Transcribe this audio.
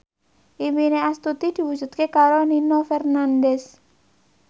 impine Astuti diwujudke karo Nino Fernandez